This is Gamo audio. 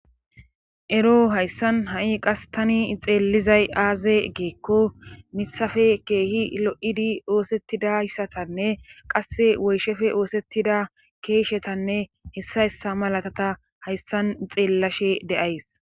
Ero hayssan ha'i qas tani ixeellizay aaze geekko misafe keehi lo7idi oosettidayssatanne qasse woyshefe oosettida keeshetanne hessa hessa malatata hayssan ixeellashe de'ays.